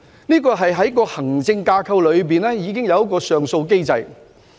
這是在行政架構第二層已設有的上訴機制。